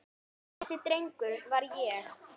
Þessi drengur var ég.